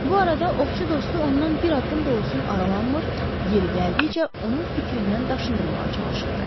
Bu arada ovçu dostu ondan bir addım da olsun aralanmır, yeri gəldikcə onu fikrindən daşındırmağa çalışırdı.